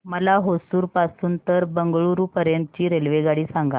मला होसुर पासून तर बंगळुरू पर्यंत ची रेल्वेगाडी सांगा